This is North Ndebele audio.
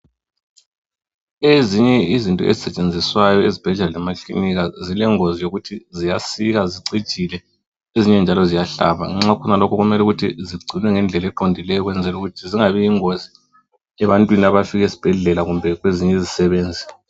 Ezinye izinto ezisetshenziswayo ezibhedlela lemakilinika zilengozi yokuthi ziyasika , zicijile ezinye njalo ziyahlaba nxa khona lokhu kumele ukuthi zigcinwe ngendlela eqondileyo ukwenzela ukuthi zingabi yingozi ebantwini abafika esbhedlela kumbe kwezinye izisebenzi.